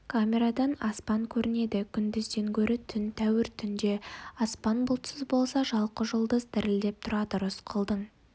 камерадан аспан көрінеді күндізден гөрі түн тәуір түнде аспан бұлтсыз болса жалқы жұлдыз дірілдеп тұрады рысқұлдың